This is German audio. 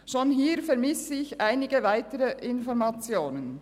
Bereits hier vermisse ich weitere Informationen.